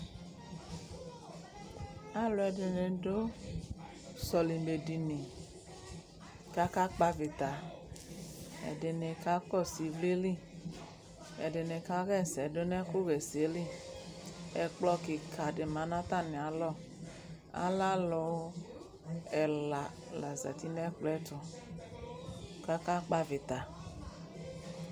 Alʋɛdɩnɩ dʋ sɔlɩmɛdini kʋ akakpɔ avɩta Ɛdɩnɩ kakɔsʋ ɩvlɩ li Ɛdɩnɩ kaɣa ɛsɛ dʋ nʋ ɛkʋɣa ɛsɛ li Ɛkplɔ kɩka dɩ ma nʋ atamɩalɔ Alɛ alʋ ɛla la zati nʋ ɛkplɔ yɛ ɛtʋ kʋ akakpɔ avɩta